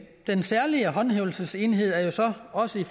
den særlige håndhævelsesenhed er jo så også i